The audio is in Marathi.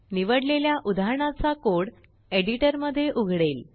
निवडलेल्या उदाहरणाचाकोडएडिटरमध्ये उघडेल